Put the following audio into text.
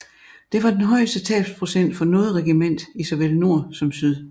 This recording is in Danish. Det var den højeste tabsprocent for noget regiment i såvel nord som syd